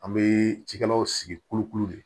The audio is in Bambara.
An bɛ cikɛlaw sigi kolokolo de